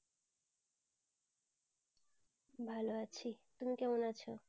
ভালো আছি তুমি কেমন আছো?